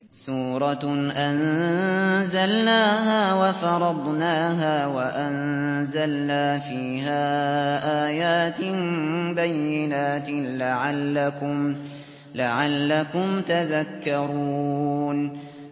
سُورَةٌ أَنزَلْنَاهَا وَفَرَضْنَاهَا وَأَنزَلْنَا فِيهَا آيَاتٍ بَيِّنَاتٍ لَّعَلَّكُمْ تَذَكَّرُونَ